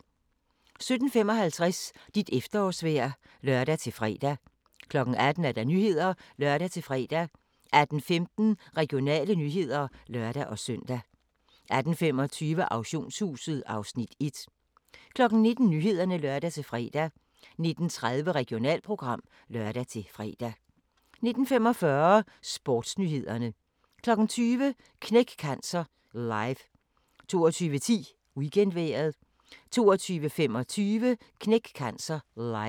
17:55: Dit efterårsvejr (lør-fre) 18:00: Nyhederne (lør-fre) 18:15: Regionale nyheder (lør-søn) 18:25: Auktionshuset (Afs. 1) 19:00: Nyhederne (lør-fre) 19:30: Regionalprogram (lør-fre) 19:45: Sportsnyhederne 20:00: Knæk Cancer Live 22:10: Weekendvejret 22:25: Knæk Cancer Live